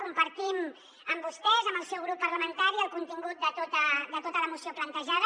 compartim amb vostès amb el seu grup parlamentari el contingut de tota la moció plantejada